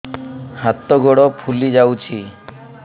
ହାତ ଗୋଡ଼ ଫୁଲି ଯାଉଛି